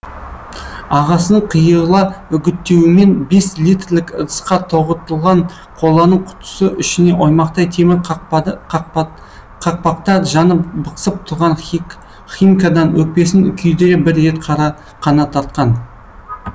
ағасының қиыла үгіттеуімен бес литрлік ыдысқа тоғытылған қоланың құтысы ішіне оймақтай темір қақпақта жанып бықсып толған химкадан өкпесін күйдіре бір рет қана тартқан